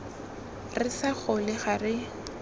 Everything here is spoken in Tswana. re sa gole ga re